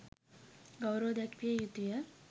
ගෞරව දැක්විය යුතු ය.